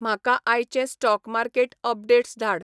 म्हाका आयचे stock market updates धाड